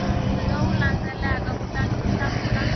lowu landzelaka kutani u hlamula